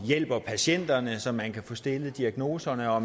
hjælper patienter så man kan få stillet en diagnose og